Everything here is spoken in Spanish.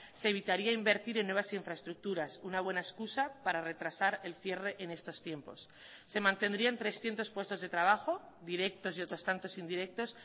se evitaría invertir en nuevas infraestructuras una buena excusa para retrasar el cierre en estos tiempos se mantendrían trescientos puestos de trabajo directos y otros tantos indirectos